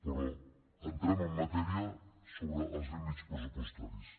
però entrem en matèria sobre els límits pressupostaris